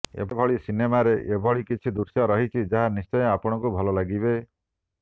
ଏହିଭଳି ସିନେମାରେ ଏଭଳି କିଛି ଦୃଶ୍ୟ ରହିଛି ଯାହା ନିଶ୍ଚୟ ଆପଣଙ୍କୁ ଭଲ ଲାଗିବେ